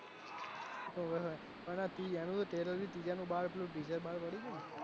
ઓવે અને એનું બાર પડયું તું ને